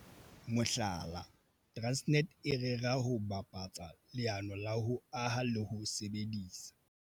Mohlala, Transnet e rera ho bapatsa leano la ho aha le ho sebedisa